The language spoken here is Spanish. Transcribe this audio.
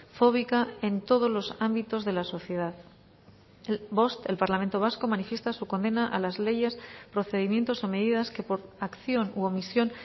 fóbica en todos los ámbitos de la sociedad bost el parlamento vasco manifiesta su condena a las leyes procedimientos o medidas que por acción u omisión